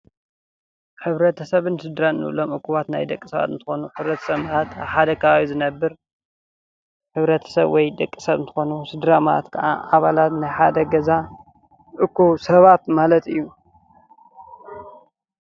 ሕብረተ ሰብን ስድራን እንብሎም ኣኩባት ናይ ደቂ ሰባት እንትኾኑ፤ ሕብረተ ሰብ ኣብ ሓደ ከባቢ ዝነብር ሕብረተሰብ ወይ ደቂ ሰብ እንትኾኑ፤ ስድራ ማለት ከዓ አባላት ናይ ገዛ እኩብ ሰባት ማለት እዩ።